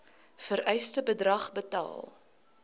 vereiste bedrag betaal